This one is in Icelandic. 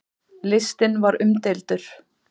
Listinn var umdeildur.